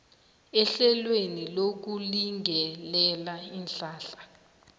ehlelweni lokulingelela iinhlahla